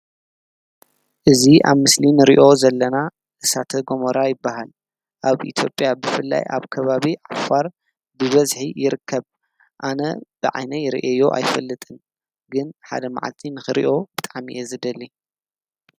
እዙ ኣብ ምስሊን ርእዮ ዘለና እሳተ ገሞራ ኣይበሃል ኣብ ኢቲጴያ ብፍላይ ኣብ ከባብ ዓፋር ድበዝ ይርከብ ኣነ ብዓይነይ ርእዮ ኣይፈልጥን ግን ሓደ መዓቲንኺርእዮ ብታዕሚ ዝደሊ።